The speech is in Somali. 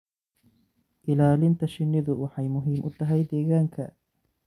Ilaalinta shinnidu waxay muhiim u tahay deegaanka.